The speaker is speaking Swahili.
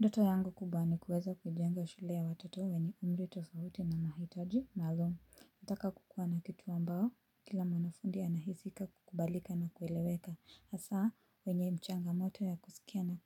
Ndoto yangu kubwa ni kuweza kujenga shule ya watoto wenye umri tofauti na mahitaji maalum. Nataka kukuwa na kitu ambao, kila mwanafunzi anahisi ka, kukubalika na kueleweka. Asa, wenye changamoto ya kusikia na